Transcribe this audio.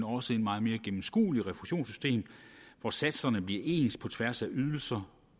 også meget mere gennemskueligt refusionssystem hvor satserne bliver ens på tværs af ydelser